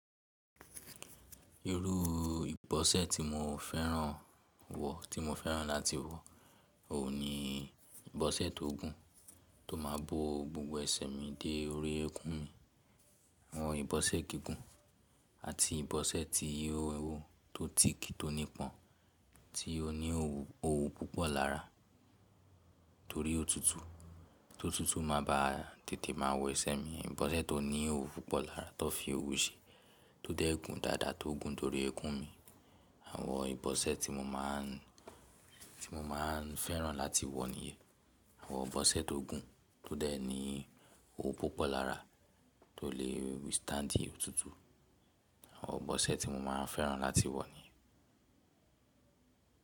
Irú ìbọ́sẹ́ tí mo fẹ́ràn wọ̀, tí mo fẹ́ràn láti wọ̀ ò ní ìbọ́sẹ́ tó gùn, tó má bo gbogbo ẹsẹ mi dé orí ẹkún mi. Àwọn ìbọ́sẹ́ gígùn àti ìbọ́sẹ́ ti ihò ewu tó ti ki tó nípọn, tí ó ní òwú púpọ̀ lára torí òtútù, tó tútù máa ba tètè máa wọ ẹsẹ mi. Ìbọ́sẹ́ tó ní òwú púpọ̀ lára tọ́ fi òwú ṣe tó dẹ́ gun dáadáa tó gun torí ẹkún mi. Àwọn ìbọ́sẹ́ tí mo máa n fẹ́ràn láti wọ̀ nìyẹn, àwọn ìbọ́sẹ́ tó gùn tó dẹ̀ ní òwú púpọ̀ lára tó le withstand òtútù. Àwọn ìbọ́sẹ́ tí mo máa n fẹ́ràn láti wọ̀ nìyẹn.